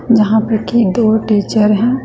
जहां पे खे दो टीचर है।